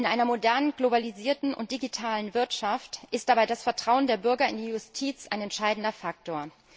In einer modernen, globalisierten und digitalen Wirtschaft ist dabei das Vertrauen der Bürger in die Justiz ein entscheidender Faktor.